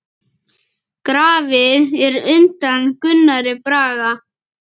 Grafið er undan Gunnari Braga.